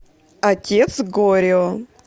отец горио